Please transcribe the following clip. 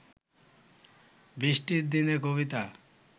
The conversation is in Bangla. বৃষ্টির দিনের কবিতা